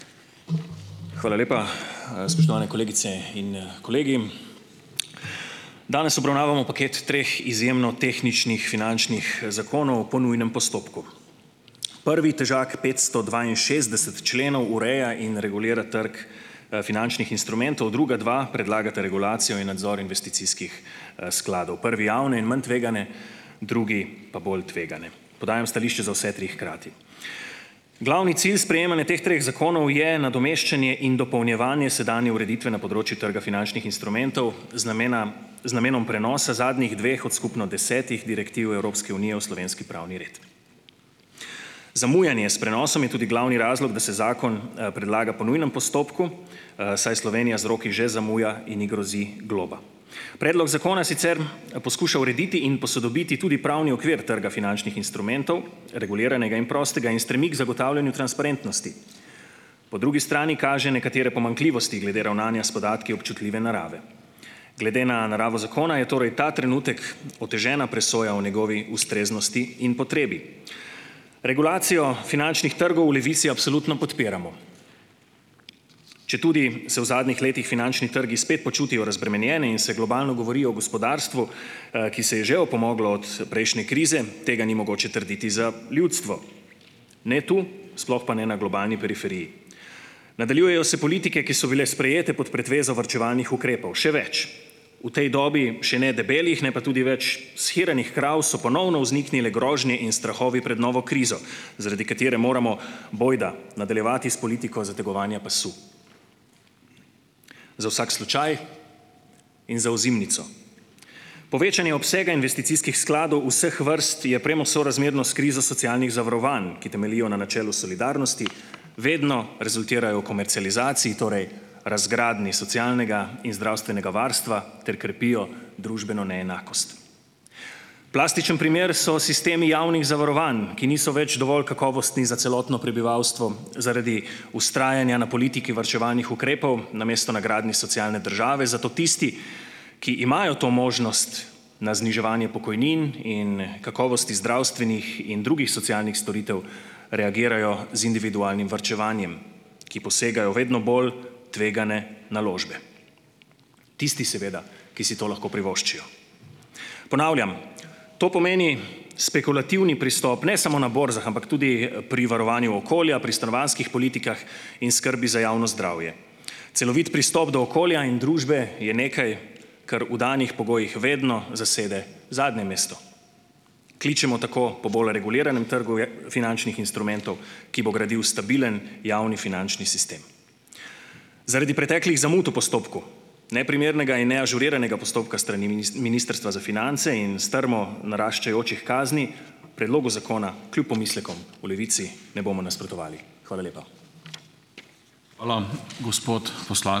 Hvala lepa. Spoštovane kolegice in kolegi! Danes obravnavamo paket treh izjemno tehničnih finančnih zakonov po nujnem postopku. Prvi, težak petsto dvainšestdeset členov, ureja in regulira trg finančnih instrumentov, druga dva predlagata regulacijo in nadzor investicijskih skladov, prvi javne in manj tvegane, drugi pa bolj tvegane; podajam stališče za vse tri hkrati. Glavni cilj sprejemanja teh treh zakonov je nadomeščanje in dopolnjevanje sedanje ureditve na področju trga finančnih instrumentov, z namena z namenom prenosa zadnjih dveh od skupno desetih direktiv Evropske unije v slovenski pravni red. Zamujanje s prenosom je tudi glavni razlog, da se zakon predlaga po nujnem postopku, saj Slovenija z roki že zamuja in ji grozi globa. Predlog zakona sicer poskuša urediti in posodobiti tudi pravni okvir trga finančnih instrumentov, reguliranega in prostega, in stremi k zagotavljanju transparentnosti. Po drugi strani kaže nekatere pomanjkljivosti glede ravnanja s podatki občutljive narave. Glede na naravo zakona je torej ta trenutek otežena presoja o njegovi ustreznosti in potrebi. Regulacijo finančnih trgov v Levici absolutno podpiramo. Četudi se v zadnjih letih finančni trgi spet počutijo razbremenjene in se globalno govori o gospodarstvu, ki se je že opomoglo od prejšnje krize, tega ni mogoče trditi za ljudstvo, ne to, sploh pa ne na globalni periferiji. Nadaljujejo se politike, ki so bile sprejete pod pretvezo varčevalnih ukrepov. Še več, v tej dobi še ne debelih, ne pa tudi več shiranih krav so ponovno vzniknile grožnje in strahovi pred novo krizo, zaradi katere moramo, bojda, nadaljevati s politiko zategovanja pasu, za vsak slučaj in za ozimnico. Povečanje obsega investicijskih skladov vseh vrst je premo sorazmerno s krizo socialnih zavarovanj, ki temeljijo na načelu solidarnosti, vedno rezultirajo v komercializaciji, torej razgradnji socialnega in zdravstvenega varstva, ter krepijo družbeno neenakost. Plastičen primer so sistemi javnih zavarovanj, ki niso več dovolj kakovostni za celotno prebivalstvo zaradi vztrajanja na politiki varčevalnih ukrepov namesto na gradnji socialne države. Zato tisti, ki imajo to možnost, na zniževanje pokojnin in kakovosti zdravstvenih in drugih socialnih storitev reagirajo z individualnim varčevanjem, ki posegajo vedno bolj tvegane naložbe, tisti, seveda, ki si to lahko privoščijo. Ponavljam, to pomeni spekulativni pristop, ne samo na borzah, ampak tudi pri varovanju okolja, pri stanovanjskih politikah in skrbi za javno zdravje. Celovit pristop do okolja in družbe je nekaj, kar v danih pogojih vedno zasede zadnje mesto. Kličemo tako po bolj reguliranem trgu finančnih instrumentov, ki bo gradil stabilen javni finančni sistem. Zaradi preteklih zamud v postopku, neprimernega in neažuriranega postopka s strani Ministrstva za finance in strmo naraščajočih kazni predlogu zakona, kljub pomislekom, v Levici ne bomo nasprotovali. Hvala lepa.